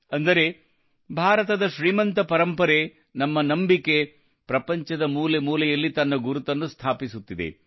ಅಂದರೆ ಭಾರತದ ಶ್ರೀಮಂತ ಪರಂಪರೆ ನಮ್ಮ ನಂಬಿಕೆ ಪ್ರಪಂಚದ ಮೂಲೆ ಮೂಲೆಯಲ್ಲಿ ತನ್ನ ಗುರುತನ್ನು ಸ್ಥಾಪಿಸುತ್ತಿದೆ